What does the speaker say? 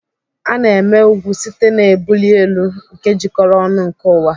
A na-eme ugwu site n'ebuli elu nke jikọrọ ọnụ nke ụwa.